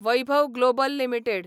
Vaibhav Global limited